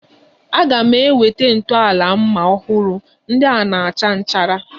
A ga m enweta ntọala mma ọhụrụ, ndị a na-acha nchara